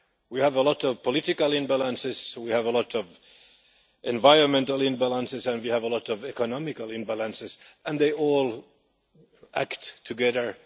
We have a lot of political imbalances, we have a lot of environmental imbalances and we have a lot of economic imbalances, and they all act together.